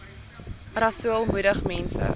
rasool moedig mense